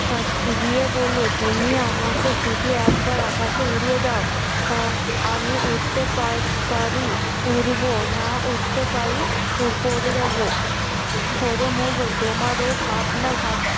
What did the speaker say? গিয়ে বললো তুমি আমাকে শুধু একবার আকাশে উড়িয়ে দাও আহ আমি উড়তে পার~ পারি উড়বো না উড়তে পারি পরে যাব, পড়ে মরব তোমার ওই ভাবনা ভাব~